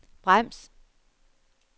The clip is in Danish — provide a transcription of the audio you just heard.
brems